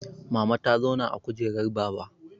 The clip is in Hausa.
Mama ta zauna a kujerar baba